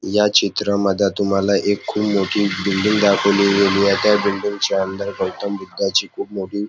या चित्रा मध्ये तुम्हाला एक खुप मोठी बिल्डिंग दाखवली गेलीये त्या बिल्डिंग च्या अंदर गौतम बुद्धाची खुप मोठी--